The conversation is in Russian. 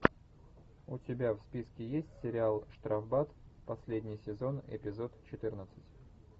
у тебя в списке есть сериал штрафбат последний сезон эпизод четырнадцать